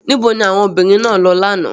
Níbo ni àwọn obìnrin náà lọ lánàá?